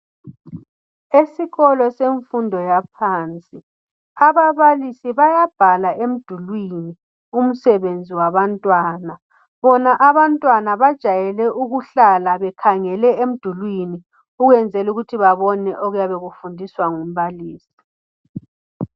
Esikolo semfundo yaphansi ababalisi bayabhala emdulwini umsebenzi wabantwana bona abantwana bajwayele ukuhlala bekhangele emdulwini ukunzela ukuthi babone okuyabe kufundiswa ngumbalisi